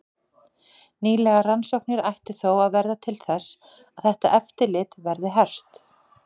Nýlegar rannsóknir ættu þó að verða til þess að þetta eftirlit verði hert.